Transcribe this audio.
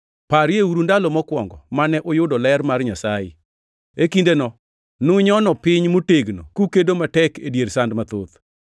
Parieuru ndalo mokwongo mane uyudo ler mar Nyasaye. E kindeno nunyono piny motegno kukedo matek e dier sand mathoth.